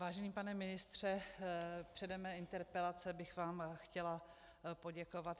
Vážený pane ministře, předem své interpelace bych vám chtěla poděkovat.